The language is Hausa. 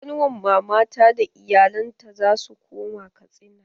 Ƙanuwar mama ta da iyalen ta zasu koma Katsina.